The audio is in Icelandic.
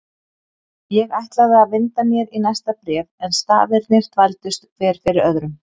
Ég ætlaði að vinda mér í næsta bréf en stafirnir þvældust hver fyrir öðrum.